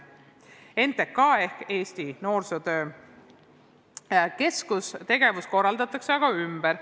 NTK ehk Eesti Noorsootöö Keskuse tegevus korraldatakse aga ümber.